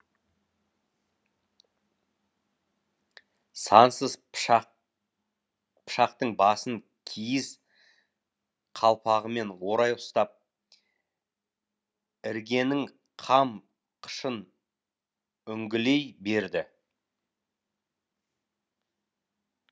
сансыз пышақтың басын киіз қалпағымен орай ұстап іргенің қам қышын үңгілей берді